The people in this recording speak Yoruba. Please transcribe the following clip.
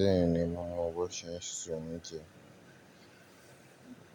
Bẹ́ẹ̀ni, mo mọ bó ṣe ń se oúnjẹ.